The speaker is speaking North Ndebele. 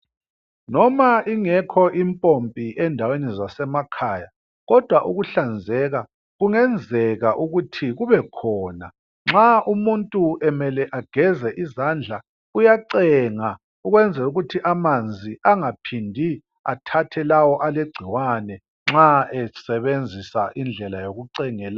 Noma ingekho impompi endaweni zasemakhaya kodwa ukuhlanzeka kungenzeka ukuthi kube khona nxa umuntu emele ageze izandla uyacenga ukwenzela ukuthi amanzi angaphindi athathe lawo alegcikwane nxa esebenzisa indlela yokucengela.